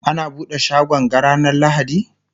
ana buɗe shagon ga ranar lahadi?